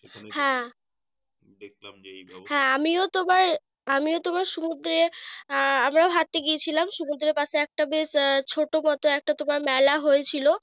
হ্যাঁ হ্যাঁ আমিও তোমার আমিও তোমার সমুদ্রে আহ আমরা ও হাঁটতে গিয়েছিলাম। সমুদ্রের পাশে একটা বেশ ছোট মত তোমার মেলা হয়েছিল।